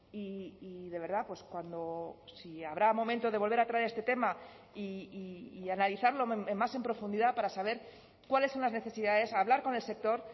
y de verdad pues cuando si habrá momento de volver a traer este tema y analizarlo más en profundidad para saber cuáles son las necesidades hablar con el sector